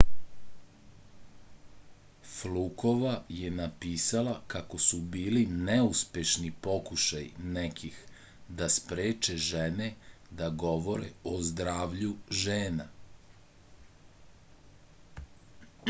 flukova je napisala kako su bili neuspešni pokušaji nekih da spreče žene da govore o zdravlju žena